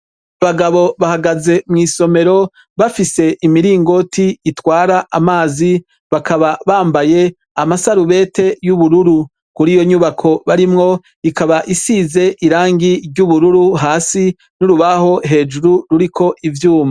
Abagabo bahagaze mwisomero bafise imiringoti itwara amazi bakaba bambaye amasarubeti yubururu kuriyo nyubako barimwo ikaba isize irangi ryubururu hasi nurubaho hejuru ruriko ivyuma.